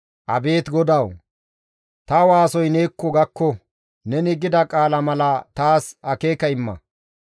Abeet GODAWU! Ta waasoy neekko gakko; neni gida qaala mala taas akeeka imma.